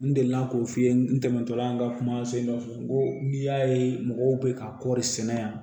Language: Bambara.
N delila k'o f'i ye n dɛmɛtɔla an ka kumasen dɔ fɔ n ko n'i y'a ye mɔgɔw bɛ ka kɔɔri sɛnɛ yan